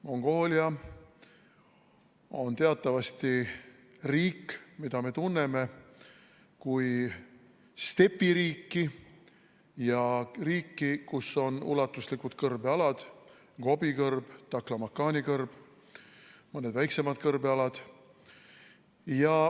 Mongoolia on teatavasti riik, mida me tunneme kui stepiriiki ja riiki, kus on ulatuslikud kõrbealad: Gobi kõrb, Taklamakani kõrb, mõned väiksemad kõrbealad.